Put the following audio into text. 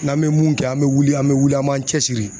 N'an bɛ mun kɛ an bɛ wuli an bɛ wuli an b'an cɛsiri.